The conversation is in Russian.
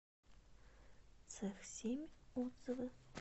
цех семь отзывы